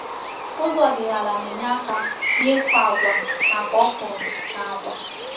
Ụzọ ọdịnala na-enye aka n’ịkụ agwa maka ọkwụrụ na agwa.